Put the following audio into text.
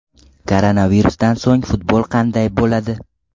Koronavirusdan so‘ng futbol qanday bo‘ladi?.